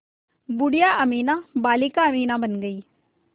बूढ़िया अमीना बालिका अमीना बन गईं